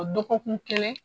Dɔgɔkun kelen.